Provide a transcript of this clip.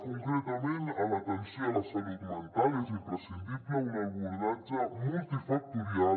concretament a l’atenció a la salut mental és imprescindible un abordatge multifactorial